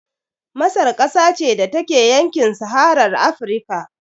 Masar ƙasa ce da take a yankin saharar Afrika